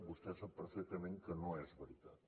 vostè sap perfectament que no és veritat